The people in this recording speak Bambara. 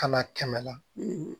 Kana kɛmɛ la